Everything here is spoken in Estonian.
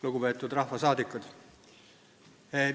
Lugupeetud rahvasaadikud!